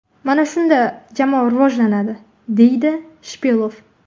Mana shunda jamoa rivojlanadi”, deydi Shipilov.